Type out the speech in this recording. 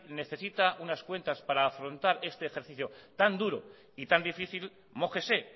necesita unas cuentas para afrontar este ejercicio tan duro y tan difícil mójese